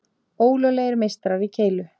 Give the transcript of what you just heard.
Ólöglegir meistarar í keilu